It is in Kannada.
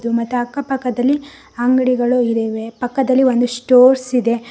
ಮತ್ತ ಅಕ್ಕಪಕ್ಕದಲ್ಲಿ ಅಂಗಡಿಗಳು ಇದಾವೆ ಪಕ್ಕದಲ್ಲಿ ಒಂದು ಸ್ಟೋರ್ಸ್ ಇದೆ.